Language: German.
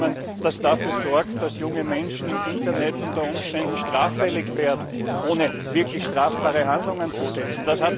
Ein Abkommen, das dafür sorgt, dass junge Menschen im Internet unter Umständen straffällig werden, ohne wirklich strafbare Handlungen zu setzen!